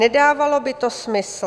Nedávalo by to smysl."